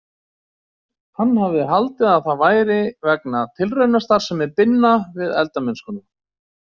Hann hafði haldið að það væri vegna tilraunastarfsemi Binna við eldamennskuna.